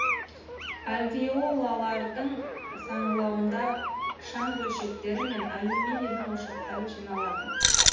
альвеолалардың саңылауында шан бөлшектері мен алюминийдің ошақтары жиналады